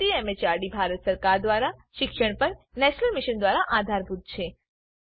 જે ICT MHRD Bharat સરકાર દ્વારા શિક્ષણ પર નેશનલ મિશન દ્વારા આધારભૂત છે